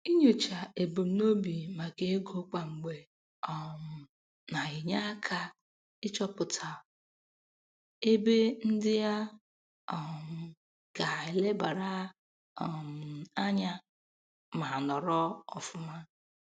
Inyocha ebumnobi maka ego kwa mgbe um na-enye aka n'ịchọpụta ebe ndị a um ga-elebara um anya ma nọrọ ọfụma.